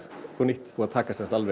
upp á nýtt búið að taka